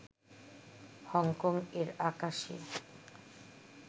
Hong Kong এর আকাশে